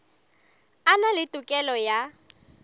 a na le tokelo ya